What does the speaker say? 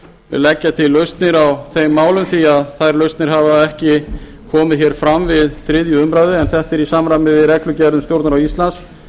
leggja til lausnir á þeim málum því að þær lausnir hafa ekki komið fram við þriðju umræðu en þetta er í samræmi við reglugerð um stjórnarráð íslands